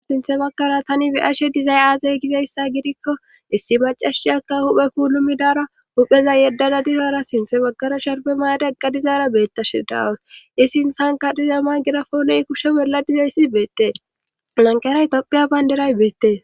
sinthe makara tani biyashe dizay aazay gizayssa gidikko issi macashiyaka huphe puulu midara hupheza yeddada dizaara sinthe makara sharbe maade qqadizaara beettashe daawas isi insanka diza ma girafooney kushe bolladizay issi beettee nanqera topphiya bayndiray beettee